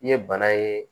I ye bana ye